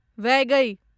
वैगै